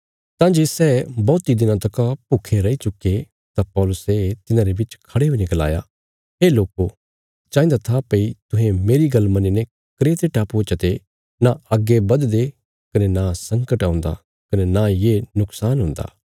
तां जे सै बौहती दिनां तका भूखे रई चुके तां पौलुसे तिन्हांरे बिच खड़े हुईने गलाया हे लोको चाहिन्दा था भई तुहें मेरी गल्ल मन्नीने क्रेते टापुये चते नां अग्गे बधदे कने नां संकट औंदा कने नां ये नुक्शान हुन्दा